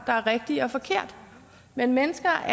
er rigtigt og forkert men mennesker